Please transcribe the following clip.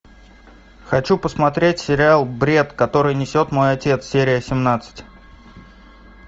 хочу посмотреть сериал бред который несет мой отец серия семнадцать